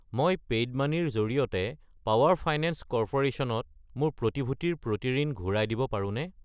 মই পেইউমানি ৰ জৰিয়তে পাৱাৰ ফাইনেন্স কৰ্প'ৰেশ্যন ত মোৰ প্ৰতিভূতিৰ প্ৰতি ঋণ ঘূৰাই দিব পাৰোনে?